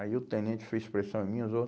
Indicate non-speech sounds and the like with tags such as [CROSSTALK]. Aí o tenente fez pressão em mim [UNINTELLIGIBLE]